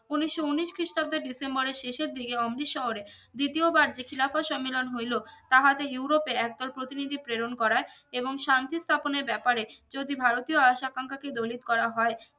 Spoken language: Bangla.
উনিস্য উনিশ খ্রিস্টাব্দে ডিসেম্বরের শেষের দিকে অমৃত শহরে দ্বিতীয়বার যে খিলাফত সম্মেলন হইলো তাহাতে ইউরোপে এক দল প্রতিনিধি প্রেরন করায় এবং শান্তি স্থাপনের ব্যাপারে যদি ভারতীয় আশা আকাঙ্খা কে দলিত করা হয়ে